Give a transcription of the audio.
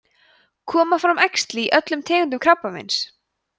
koma fram æxli í öllum tegundum krabbameins